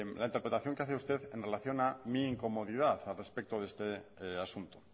la interpretación que hace usted en relación a mi incomodidad al respecto de este asunto